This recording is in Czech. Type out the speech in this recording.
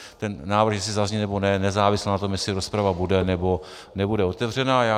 Ten návrh jestli zazní, nebo ne, nezávisel na tom, jestli rozprava bude, nebo nebude otevřena.